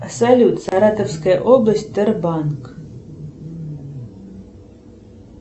салют саратовская область тербанк